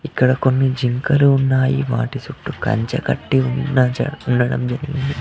ఇక్కడ కొన్ని జింకలు ఉన్నాయి వాటి సుట్టూ కంచె కట్టి ఉన్న చెట్ల--